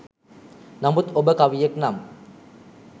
නමුත් ඔබ කවියෙක් නම්